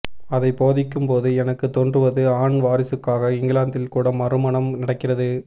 அதை போதிக்கும் போது எனக்கு தோன்றுவது ஆண் வாரிசுக்காக இங்கிலாந்தில் கூட மறுமணம் நடக்கிறது